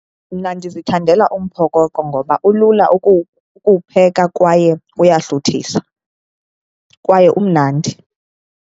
Mna ndizithandela umphokoqo ngoba ulula ukuwupheka kwaye uyahluthisa, kwaye umnandi.